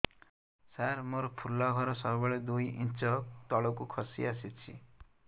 ସାର ମୋର ଫୁଲ ଘର ସବୁ ବେଳେ ଦୁଇ ଇଞ୍ଚ ତଳକୁ ଖସି ଆସିଛି